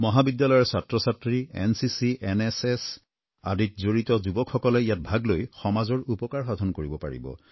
মহাবিদ্যালয়ৰ ছাত্ৰছাত্ৰী NCC NSS আদিত জড়িত যুৱকসকলে ইয়াত ভাগ লৈ সমাজৰ উপকাৰ সাধন কৰিব পাৰিব